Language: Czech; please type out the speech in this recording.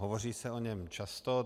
Hovoří se o něm často.